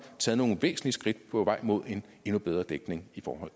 taget nogle væsentlige skridt på vejen mod en endnu bedre dækning i forhold